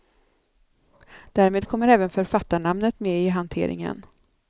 Därmed kommer även författarnamnet med i hanteringen.